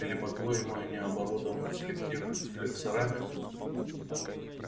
или по-твоему они оборудованы селективными флексорами